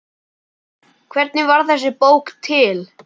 Hvernig varð þessi bók til?